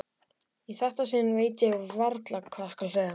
Í þetta sinn veit ég varla hvað skal segja.